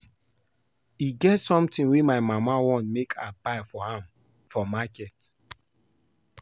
E get something wey my mama want make I buy for am from market